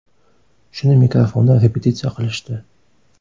Shuni mikrofonda repetitsiya qilishdi.